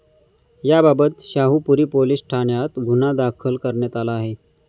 याबाबत शाहुपुरी पोलीस ठाण्यात गुन्हा दाखल करण्यात आला आहे.